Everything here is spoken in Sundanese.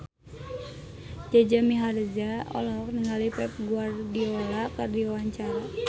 Jaja Mihardja olohok ningali Pep Guardiola keur diwawancara